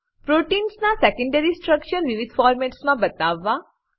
પ્રોટીન્સના secondary structure વિવિધ ફોર્મેટ્સમાં બતાવવા